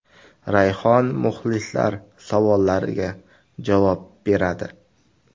Rayhon muxlislar savollariga javob beradi.